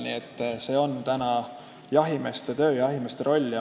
Nii et see on täna jahimeeste töö ja jahimeeste roll.